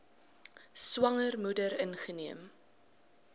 swanger moeder ingeneem